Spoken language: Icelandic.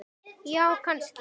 Já, kannski